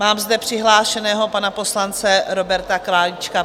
Mám zde přihlášeného pana poslance Roberta Králíčka.